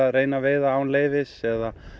veiða án leyfis eða